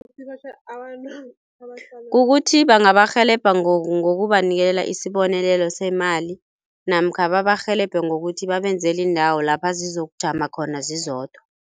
Kukuthi bangabarhelebha ngokubanikela isibonelelo semali namkha babarhelebhe ngokuthi babenzele iindawo lapha zizokujama khona zizodwa.